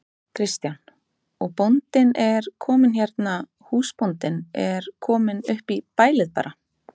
Kristján: Og bóndinn er kominn hérna, húsbóndinn er kominn upp í bælið bara?